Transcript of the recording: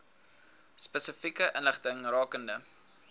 spesifieke inligting rakende